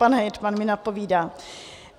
Pan hejtman mi napovídá.